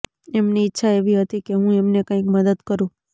એમની ઈચ્છા એવી હતી કે હું એમને કાંઈક મદદ કરું